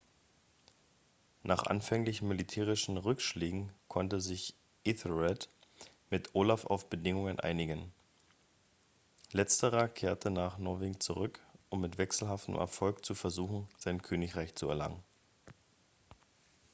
nach anfänglichen militärischen rückschlägen konnte sich æthelred mit olaf auf bedingungen einigen. letzterer kehrte nach norwegen zurück um mit wechselhaftem erfolg zu versuchen sein königreich zu erlangen